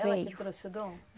Ela que trouxe o Dom?